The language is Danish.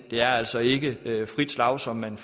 er altså ikke frit slag som man